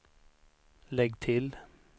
lägg till